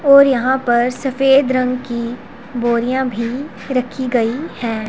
और यहां पर सफेद रंग की बोरियां भी रखी गई हैं।